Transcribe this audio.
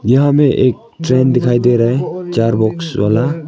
यहां हमें एक ट्रेन दिखाई दे रहा है चार बॉक्स वाला।